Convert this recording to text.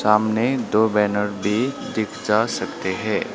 सामने दो बैनर भी दिख जा सकते हैं।